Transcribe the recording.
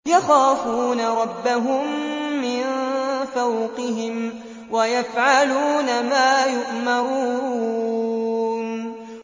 يَخَافُونَ رَبَّهُم مِّن فَوْقِهِمْ وَيَفْعَلُونَ مَا يُؤْمَرُونَ ۩